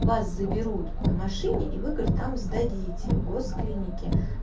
вас заберут на машине и вы говорит там сдадите в гос клинике